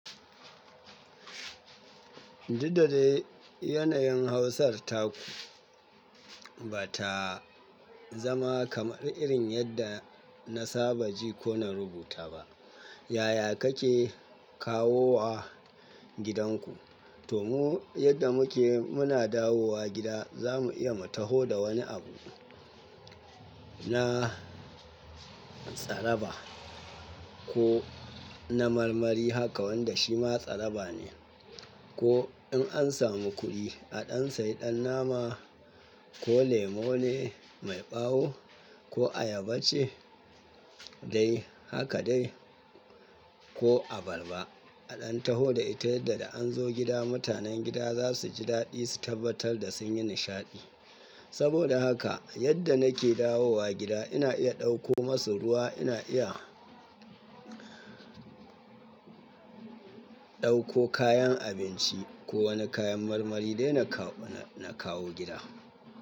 Duk da dai yanayin Hausar ta ku ba ta zama kamar irin yadda na saba ji ko na rubuta ba. Yaya kake kawo wa gidanku? To mu yadda muke muna dawo wa gida za mu iya mu taho da wani abu na tsaraba ko na marmari haka wanda shi ma tsaraba ne. Ko in an samu kuɗi a ɗan sayi ɗan nama ko lemu ne mai ɓawo ko ayaba ce dai haka dai ko abarba. A ɗan taho da ita yadda da an zo gida mutanen gida za su ji daɗi su tabbatar da sun yi nishaɗi. Saboda haka yadda nake dawo wa gida ina iya ɗauko masu ruwa, ina iya ɗauko kayan abinci ko wani kayan marmari dai na kawo gida.